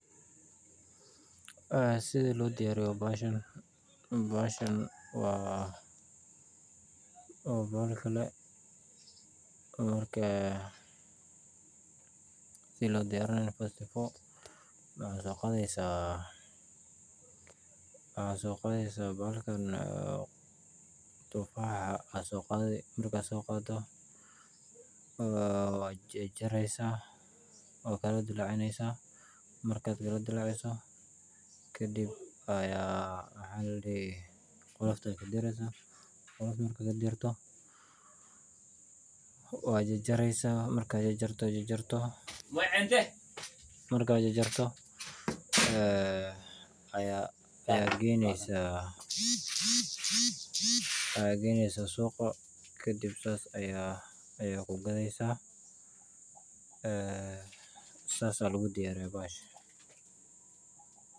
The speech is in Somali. Een sithii lodiyariyo bahashan wa wa bahalki kale markaa sithi lodiyarinaya first 4 waxasoqatheysa bahalkan tufaxa markad soqado wajarjareysa wakaladalacineysa kadib qolofta kadireysa wajajareysaaa markad jajarto ayageynesa shuqa kadib aya sas kugatheysa sas ayalodiyariya bahash